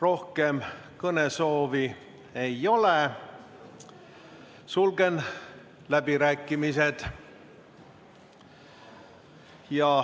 Rohkem kõnesoovi ei ole, sulgen läbirääkimised.